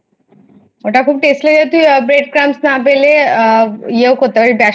ওটা খুব Taste লেগেছে Bread Crumbs না পেলে ইও করতে পারিস,